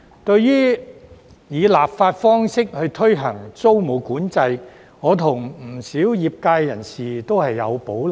對於以立法方式推行租務管制，我與不少業界人士都有保留。